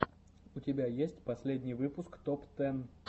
у тебя есть последний выпуск топ тэн